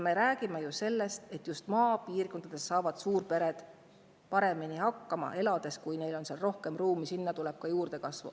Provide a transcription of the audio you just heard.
Me räägime ju sellest, et just maapiirkonnas elades saavad suurpered paremini hakkama, neil on seal rohkem ruumi ja sinna tuleb ka juurdekasvu.